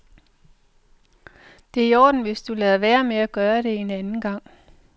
Det i orden, hvis du lader være med at gøre det en anden gang.